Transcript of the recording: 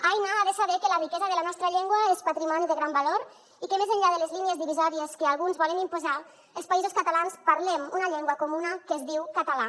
aina ha de saber que la riquesa de la nostra llengua és patrimoni de gran valor i que més enllà de les línies divisòries que alguns volen imposar els països catalans parlem una llengua comuna que es diu català